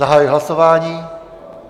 Zahajuji hlasování.